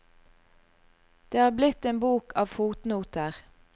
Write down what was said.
Det er blitt en bok av fotnoter.